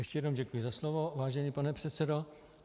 Ještě jednou děkuji za slovo, vážený pane předsedo.